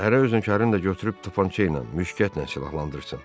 Hərə özünükərini də götürüb topança ilə müşgətə ilə silahlandırsın.